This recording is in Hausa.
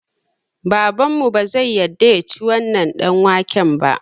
Babanmu bazai yadda yaci wannan ɗanwaken ba